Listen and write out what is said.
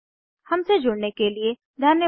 हमसे जुड़ने के लिए धन्यवाद